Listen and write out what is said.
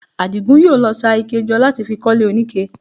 Àdìgún yóò lọ ṣa ike jọ láti fi kọ́lé oníke